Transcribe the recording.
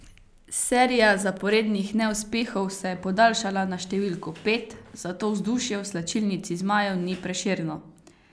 Serija zaporednih neuspehov se je podaljšala na številko pet, zato vzdušje v slačilnici zmajev ni prešerno.